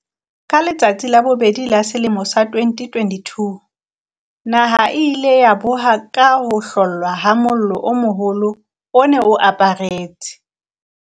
Ka letsatsi la bobedi la selemo sa 2022, naha e ile ya boha ka ho hlollwa ha mollo o moholo o ne o aparetse